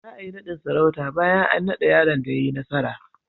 Za a yi naɗin sarauta bayan an naɗa yaron da ya yi nasara.